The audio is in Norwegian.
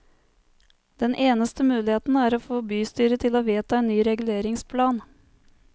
Den eneste muligheten er å få bystyret til å vedta en ny reguleringsplan.